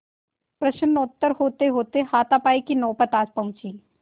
प्रश्नोत्तर होतेहोते हाथापाई की नौबत आ पहुँची